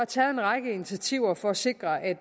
taget en række initiativer for at sikre at